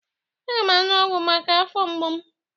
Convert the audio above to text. Aga m aṅụ ọgwụ maka afọ mgbu m.